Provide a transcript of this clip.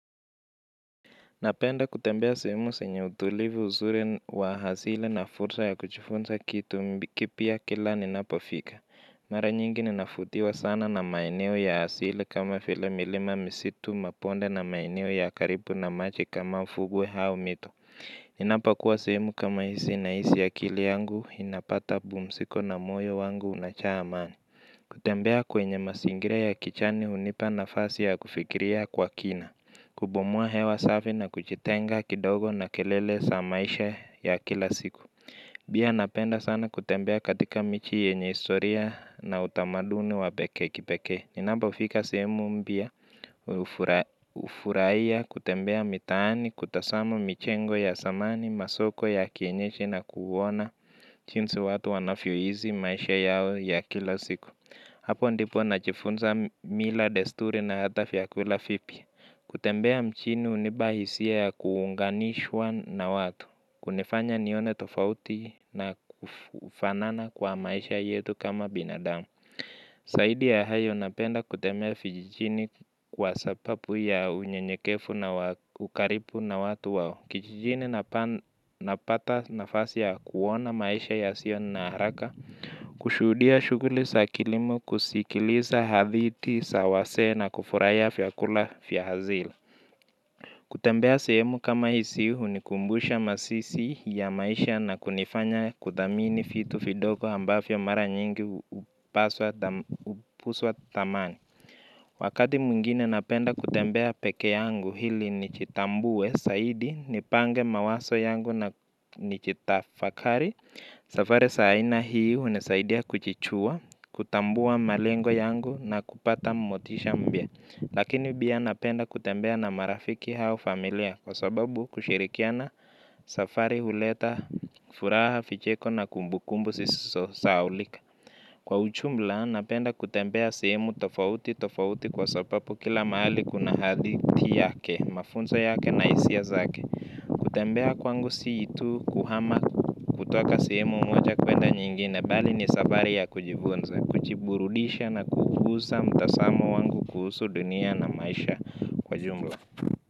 Napenda kutembea sehemu zenye utulivu uzuri w ahazina na fursa ya kujifunza kitu kipya kila ninapofika. Mara nyingi ninavutiwa sana na maeneo ya asili kama vile milima misitu mabonde na maeneo ya karibu na maji kama mfugwe au mito. Ninapokuwa sehemu kama hizi nahisi akili yangu inapata pumziko na moyo wangu unajaa amani. Kutembea kwenye masingira ya kijani hunipa nafasi ya kufikiria kwa kina. Kupumua hewa safi na kujitenga kidogo na kelele sa maisha ya kila siku. Pia napenda sana kutembea katika miji yenye historia na utamaduni wa pekee kipeke. Ninapofika sihemu mpya ufurahia kutembea mitaani kutazamu michengo ya zamani masoko ya kienyeji na kuona jinsi watu wanavyoishi maisha yao ya kila siku. Hapo ndipo najifunza mila desturi na hata vyakula vipya. Kutembea mjini unipa hisia ya kuunganishwa na watu, kunifanya nione tofauti na kufanana kwa maisha yetu kama binadamu. Zaidi ya hayo napenda kutemea vijijini kwa sababu ya unyenyekevu na ukaribu na watu wao. Kijijini napata nafasi ya kuona maisha yasio na haraka. Kushuhudia shughuli za kilimo kusikiliza hadithi za wazee na kufurahia vyakula vya asili. Kutembea sehemu kama hizi hunikumbusha masisi ya maisha na kunifanya kudhamini vitu vidogo ambavyo mara nyingi hupuswa thamani. Wakati mwingine napenda kutembea pekee yangu ili nijitambue, zaidi, nipange mawazo yangu na nijitafakari, safari za aina hii hunisaidia kujijua, kutambua malengo yangu na kupata motisha mpya. Lakini pia napenda kutembea na marafiki au familia kwa sababu kushirikiana safari huleta furaha vicheko na kumbukumbu sisizo sahaulika. Kwa ujumla, napenda kutembea sehemu tofauti tofauti kwa sababu kila mahali kuna haditi yake, mafunzo yake na hisia zake. Kutembea kwangu si itu kuhama kutoka sehemu moja kwenda nyingine, bali ni safari ya kujifunza, kujiburudisha na kuguza mtazamo wangu kuhusu dunia na maisha kwa jumla.